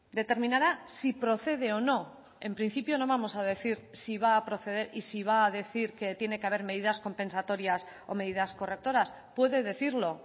determinará si procede o no en principio no vamos a decir si va a proceder y si va a decir que tiene que haber medidas compensatorias o medidas correctoras puede decirlo